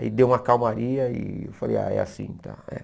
Aí deu uma calmaria e eu falei, ah, é assim, tá é.